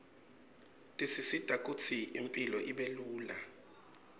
tisisita kutsi impilo ibelula